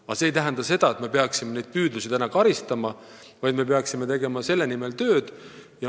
Aga see ei tähenda seda, et me peaksime neid püüdlusi karistama, me peaksime selle nimel tööd tegema.